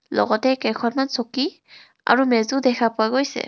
লগতে কেইখনমান চকী আৰু মেজো দেখা পোৱা গৈছে.